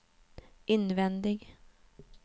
invändig